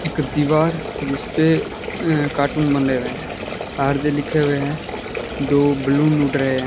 एक दीवार जिस पे अं कार्टून बने हुए हैं आर_जे लिखे हुए हैं दो बलून उड़ रहे हैं।